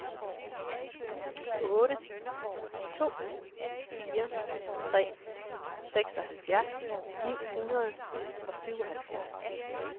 otte to fire tre seksoghalvtreds ni hundrede og syvoghalvfjerds